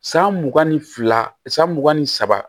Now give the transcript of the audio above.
San mugan ni fila san mugan ni saba